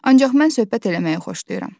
Ancaq mən söhbət eləməyi xoşlayıram.